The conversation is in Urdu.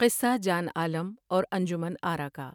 قصہ جان عالم اور انجمن آرا کا